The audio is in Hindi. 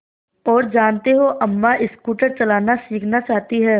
और जानते हो अम्मा स्कूटर चलाना सीखना चाहती हैं